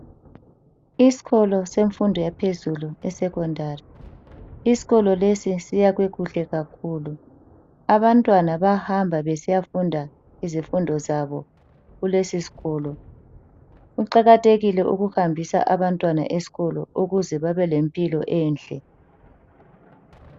Isikolo semfundo yaphezulu esekhondari, isikolo lesi siyakhwe kuhle kakhulu. Abantwana bahamba besiya funda izifundo zabo kulesi sikolo, kuqakathekile ukuhambisa abantwana esikolo ukuze babe lempilo enhle.